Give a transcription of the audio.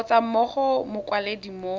kgotsa mo go mokwaledi mo